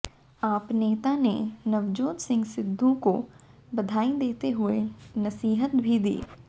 आप नेता ने नवजोत सिंह सिद्धू को बधाई देते हुए नसीहत भी दी